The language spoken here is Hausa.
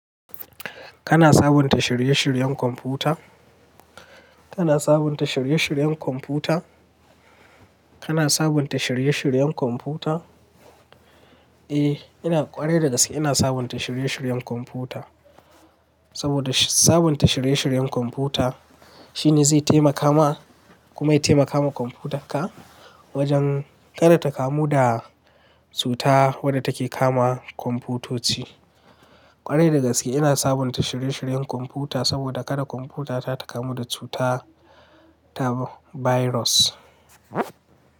Kana sabunta shirye-shiryen kwamfuta? Kana sabunta shirye-shiryen kwamfuta? Kana sabunta shirye-shiryen kwamfuta? Eh, ina ƙware da gaske ina sabunta shirye-shiryen kwamfuta. Saboda sabunta shirye-shiryen kwamfuta shine zai taimaka ma, kuma ya taimaka ma kwamfutarka wajen kada ta kamu da cutar wadda take kama kwamfutoci. Ƙware da gaske ina sabunta shirye-shiryen kwamfuta saboda kada kwamfutata ta kamu da cutar tab- virus.